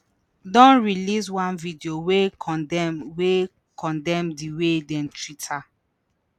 don release one video wey condemn wey condemn di way dem treat her.